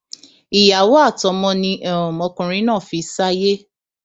ìyàwó àtọmọ ni um ọkùnrin náà fi sáyé